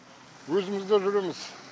өзіміз де жүреміз